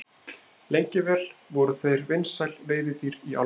Lengi vel voru þeir vinsæl veiðidýr í álfunni.